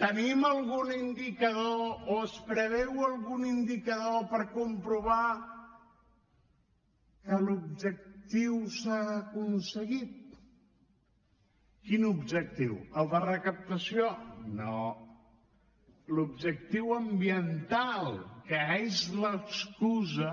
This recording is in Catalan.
tenim algun indicador o es preveu algun indicador per comprovar que l’objectiu s’ha aconseguit quin objectiu el de recaptació no l’objectiu ambiental que és l’excusa